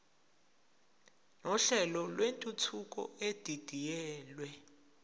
nohlelo lwentuthuko edidiyelwe